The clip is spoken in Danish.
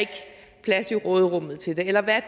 plads i råderummet til det eller hvad